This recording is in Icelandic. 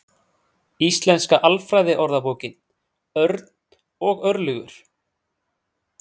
Íslenska Alfræðiorðabókin, Örn og Örlygur.